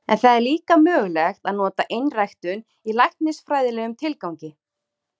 En það er líka mögulegt að nota einræktun í læknisfræðilegum tilgangi.